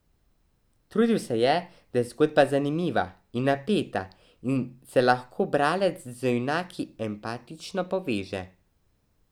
Trudil se je, da je zgodba zanimiva in napeta in se lahko bralec z junaki empatično poveže.